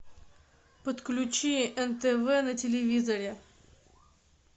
подключи нтв на телевизоре